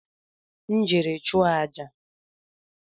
M jere ịchụọ àjà